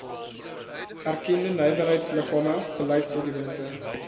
erkende nywerheidsliggame beleidsdokumente